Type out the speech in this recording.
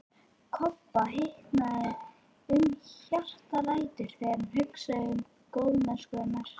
Kobba hitnaði um hjartaræturnar þegar hann hugsaði um góðmennsku hennar.